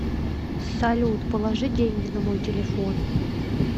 салют положи деньги на мой телефон